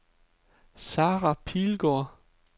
Sara Pilgaard